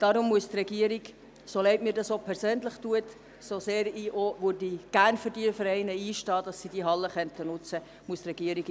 Darum muss die Regierung diese Motion in der aktuellen Finanzlage ablehnen, so leid mir das persönlich tut und so gerne ich für die Vereine einstehen möchte, damit sie die Hallen nutzen könnten.